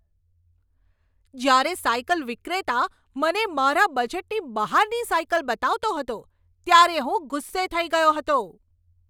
જ્યારે સાયકલ વિક્રેતા મને મારા બજેટની બહારની સાયકલ બતાવતો હતો ત્યારે હું ગુસ્સે થઈ ગયો હતો.